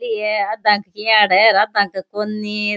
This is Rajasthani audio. आधा के किवाड़ है आधा के कोणी --